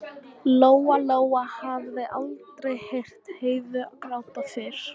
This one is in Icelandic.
Lóa-Lóa hafði aldrei heyrt Heiðu gráta fyrr.